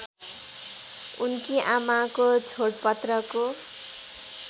उनकी आमाको छोडपत्रको